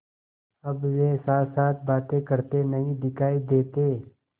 अब वे साथसाथ बातें करते नहीं दिखायी देते